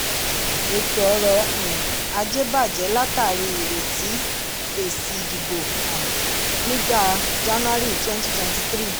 ètò ọrọ̀ um ajé bajẹ látàrí ìretí èsì ìdìbò um nígbà january 2023.